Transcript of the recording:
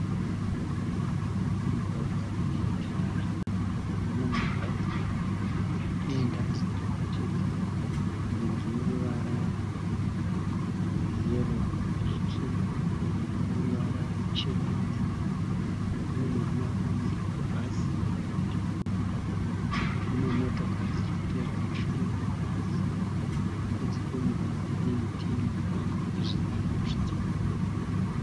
Mugwagwa une tara, una mabhazi maviri arikuenda divi rimwe chete. Rimwe rine ruvara rweyero nezvitsvuku rimwe rine ruvara ruchena nebhuruu. Pane murume akamirira bhazi parutivi pemugwagwa. Mune motokari dziri kuteera mumashure mebhazi. Kunze kwemugwagwa kune miti yemupuranga nezvivakwa zviriko.